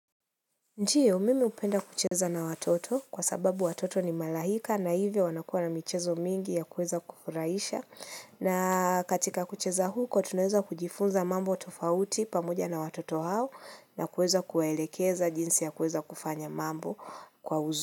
Ndiyo, mimi hupenda kucheza na watoto kwa sababu watoto ni malaika na hivyo wanakua na michezo mingi ya kuweza kufurahisha. Na katika kucheza huko, tunaweza kujifunza mambo tofauti pamoja na watoto hao na kuweza kuwaelekeza jinsi ya kuweza kufanya mambo kwa uzuri.